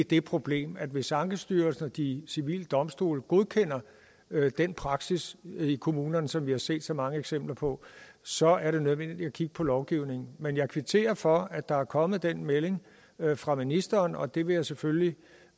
det problem at hvis ankestyrelsen og de civile domstole godkender den praksis i kommunerne som vi har set så mange eksempler på så er det nødvendigt at kigge på lovgivningen men jeg kvitterer for at der er kommet den melding fra ministeren og det vil jeg selvfølgelig